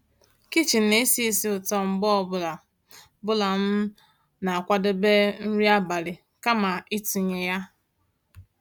kichin ná-èsì ísí ụ̀tọ́ mgbe ọ́ bụ́là bụ́là m ná-àkwàdébé nrí àbálị́ kàma ị̀tụ́nyé yá.